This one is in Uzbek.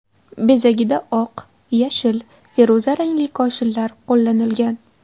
Bezagida oq, yashil, feruza rangli koshinlar qo‘llanilgan.